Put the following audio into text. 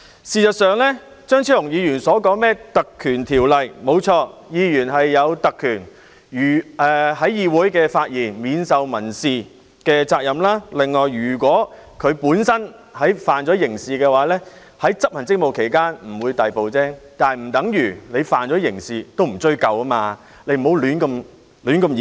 事實上，張超雄議員提及《立法會條例》，誠然，議員享有特權，無須為在議會內的發言承擔民事責任；此外，如果他觸犯刑事罪行，在執行職務期間不會被逮捕，但這不等於他觸犯刑事罪行亦不會被追究，請不要胡亂演繹。